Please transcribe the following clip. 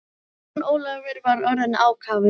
Jón Ólafur var orðinn ákafur.